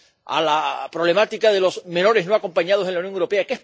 a la problemática de los menores no acompañados en la Unión Europea.